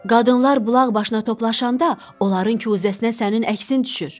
Qadınlar bulaq başına toplaşanda onların kuzəsinə sənin əksin düşür.